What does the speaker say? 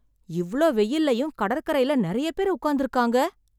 இவ்ளோ வெயில்லயும் கடற்கரைல நிறைய பேர் உட்கார்ந்துருக்காங்க.